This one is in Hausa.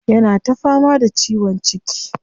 Yana ta fama da ciwon ciki.